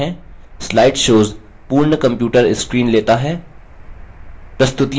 slide shows पूर्ण computer screen लेता है